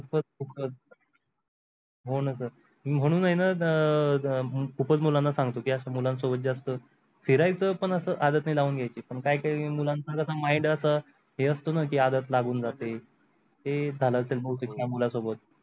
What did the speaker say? हो न सर मी म्हणून आहे न अं खूपच मुलांना सांगतो की अशा मुलांसोबत जास्त फिरायचं पण अस आदत नाही लहून घ्यायची पण काही काही मुलांचा कस mind अस हे असत न आदत लागून जाते हे झाल असेल बहुतेक त्या मुलांसोबत.